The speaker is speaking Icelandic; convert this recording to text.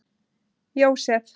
Jósef